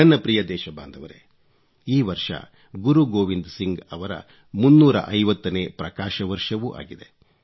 ನನ್ನ ಪ್ರಿಯ ದೇಶಬಾಂಧವರೇ ಈ ವರ್ಷ ಗುರು ಗೋವಿಂದ್ ಸಿಂಗ್ ಅವರ 350 ನೇ ಪ್ರಕಾಶ ವರ್ಷವೂ ಆಗಿದೆ